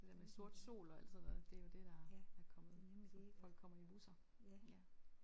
Det der med sort sol og alt sådan noget det er jo det der er kommet så folk kommer i busser ja